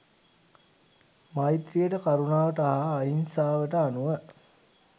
මෛත්‍රීයට කරුණාවට හා අහිංසාවට අනුව